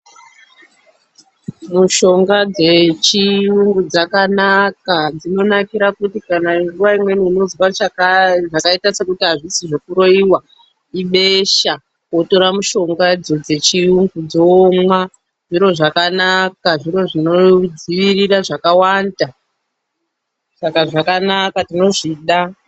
Mishonga dzechiyungu dzakanaka. Dzinonakira kuti kana nguwa imweni weizwa zvakaita sekuti hazvisi zvekuroiwa ibesha, unotora mishongadzo dzechiyungu womwa zvakanaka. Zviro zvinodzivirira zvakawanda, saka zvakanaka tinozvida.